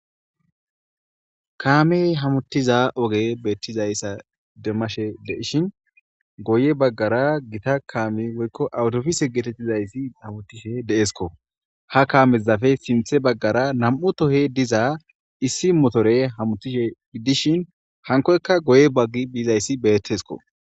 Kaamey hamuttiza oge beettizayssa demashe deishin goye baggara gita kaami woykko awutofise geetettizayssi awutishe deesko ha kaamezafe simthe baggara nam7u tohe diza issi motore hamuttishe dishin hankoyka goye baggi biizayssi beettesko